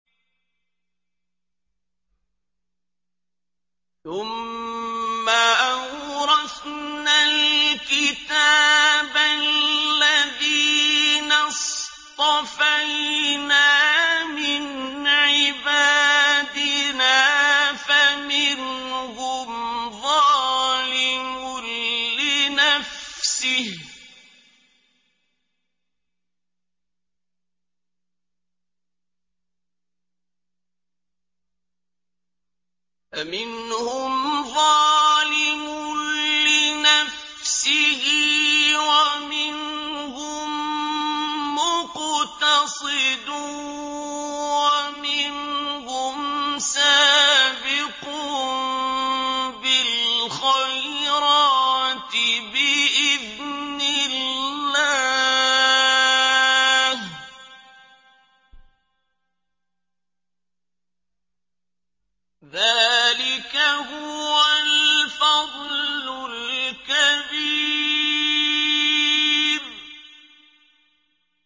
ثُمَّ أَوْرَثْنَا الْكِتَابَ الَّذِينَ اصْطَفَيْنَا مِنْ عِبَادِنَا ۖ فَمِنْهُمْ ظَالِمٌ لِّنَفْسِهِ وَمِنْهُم مُّقْتَصِدٌ وَمِنْهُمْ سَابِقٌ بِالْخَيْرَاتِ بِإِذْنِ اللَّهِ ۚ ذَٰلِكَ هُوَ الْفَضْلُ الْكَبِيرُ